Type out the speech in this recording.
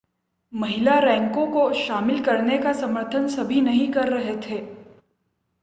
महिला रैंकों को शामिल करने का समर्थन सभी नहीं कर रहे थे